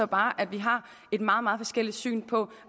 bare at vi har et meget meget forskelligt syn på